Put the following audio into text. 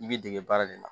I b'i dege baara de la